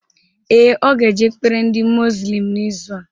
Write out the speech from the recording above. Ee, ọ ga eje ekpere ndị muzlim n'izu a